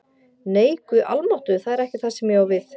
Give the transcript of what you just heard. Nei, Guð almáttugur, það er ekki það sem ég á við